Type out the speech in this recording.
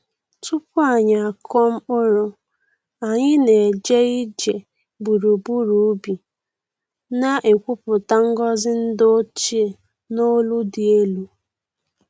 Tupu anyị akụọ mkpụrụ, anyị na-eje ije gburugburu ubi, na-ekwupụta ngọzi ndi ochie n’olu dị elu.